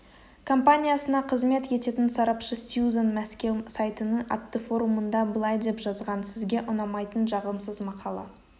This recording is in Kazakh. компаниясына қызмет ететін сарапшы сьюзан мәскеу сайтының атты форумында былай деп жазған сізге ұнамайтын жағымсыз мақала